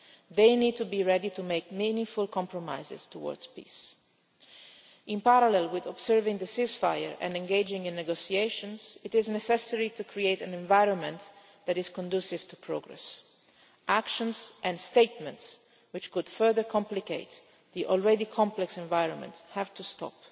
They need to be ready to make meaningful compromises towards peace. In parallel with observing the ceasefire and engaging in negotiations, it is necessary to create an environment that is conducive to progress. Actions and statements which could further complicate the already complex environment have to